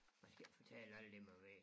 Man skal ik fortælle alle dem man vil